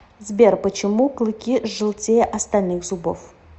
сбер почему клыки желтее остальных зубов